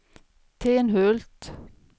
Tenhult